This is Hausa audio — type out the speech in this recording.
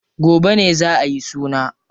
Gobe ne za ayi suna.